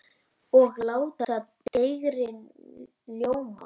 Og láta dægrin ljóma.